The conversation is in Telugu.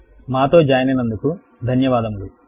మాతో జాయిన్ అయినందుకు కృతజ్ఞతలు